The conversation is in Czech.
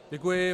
Děkuji.